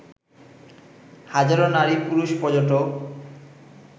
হাজারো নারী-পুরুষ পর্যটক